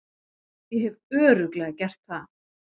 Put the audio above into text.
Ég hef Örugglega gert það.